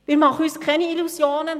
Wir machen uns keine Illusionen.